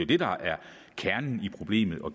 det der er kernen i problemet og